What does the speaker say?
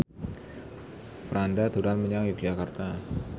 Franda dolan menyang Yogyakarta